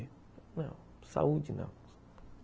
Não, saúde não.